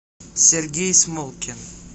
сергей смолкин